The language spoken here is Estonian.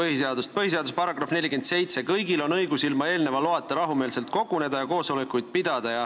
Ma tsiteerin põhiseaduse § 47: "Kõigil on õigus ilma eelneva loata rahumeelselt koguneda ja koosolekuid pidada.